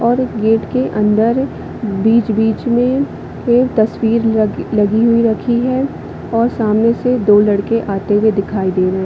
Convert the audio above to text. और गेट के अंदर बीच-बीच में के तस्वीर लग-लगी हुई रखी है और सामने से दो लड़के आते हुए दिखाई दे रहै है।